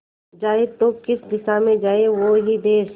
जाए तो किस दिशा में जाए वो ही देस